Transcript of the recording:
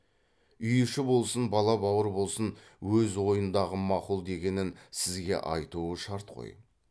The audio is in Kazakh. үй іші болсын бала бауыр болсын өз ойындағы мақұл дегенін сізге айтуы шарт қой